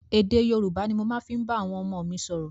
Èdè Yorùbá ni mo ma fi ń bá àwọn ọmọ mi sọ̀rọ̀.